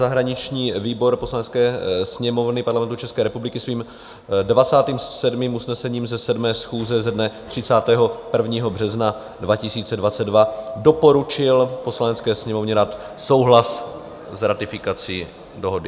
Zahraniční výbor Poslanecké sněmovny Parlamentu České republiky svým 27. usnesením ze 7. schůze ze dne 31. března 2022 doporučil Poslanecké sněmovně dát souhlas s ratifikací dohody.